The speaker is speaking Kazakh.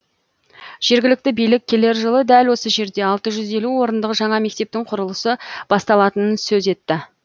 жергілікті билік келер жылы дәл осы жерде алты жүз елу орындық жаңа мектептің құрылысы басталатынын сөз етті